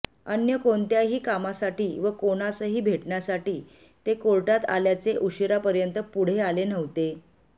अन्य कोणत्याही कामासाठी व कोणासही भेटण्यासाठी ते कोर्टात आल्याचे ऊशिरापर्यंत पुढे आले नव्हते